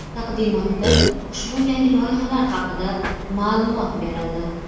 Taqdimotda ushbu yangi loyihalar haqida ma’lumot berildi.